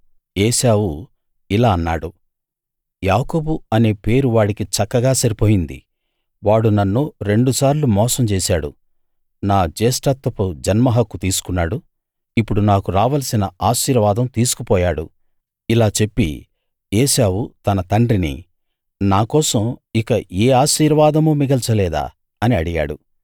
ఏశావు ఇలా అన్నాడు యాకోబు అనే పేరు వాడికి చక్కగా సరిపోయింది వాడు నన్ను రెండు సార్లు మోసం చేశాడు నా జ్యేష్ఠత్వపు జన్మహక్కు తీసుకున్నాడు ఇప్పుడు నాకు రావలసిన ఆశీర్వాదం తీసుకు పోయాడు ఇలా చెప్పి ఏశావు తన తండ్రిని నాకోసం ఇక ఏ ఆశీర్వాదమూ మిగల్చలేదా అని అడిగాడు